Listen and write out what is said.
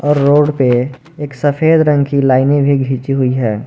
Road पे एक सफेद रंग की लाइनें भी खिंची हुई है।